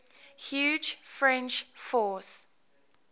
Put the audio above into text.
huge french force